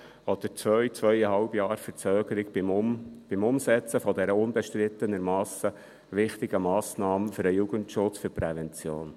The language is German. Oder zwei bis zweieinhalb Jahre Verzögerung beim Umsetzen dieser unbestritten wichtigen Massnahme für den Jugendschutz und die Prävention?